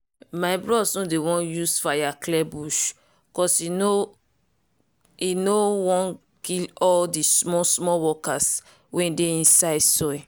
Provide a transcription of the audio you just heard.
my bros no dey use fire clear bush cause e no e no wan kill all di small-small workers wey dey inside soil.